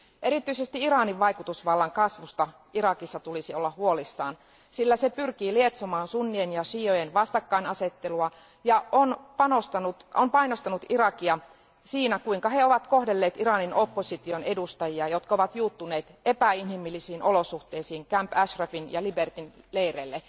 Erityisesti Iranin vaikutusvallan kasvusta Irakissa tulisi olla huolissaan, sillä se pyrkii lietsomaan sunnien ja šiiojen vastakkainasettelua ja on painostanut Irakia siinä, kuinka he ovat kohdelleet Iranin opposition edustajia, jotka ovat juuttuneet epäinhimillisiin olosuhteisiin Camp Ashrafin ja Libertyn leireille.